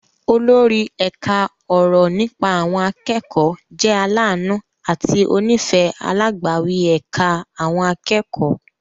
Olórí ẹ̀ka ọ̀rọ̀ nípa àwọn akẹ́kọ̀ọ́ jẹ́ aláàánú àti onífẹ̀ẹ́ alágbàwí ẹ̀ka àwọn akẹ́kọ̀ọ́.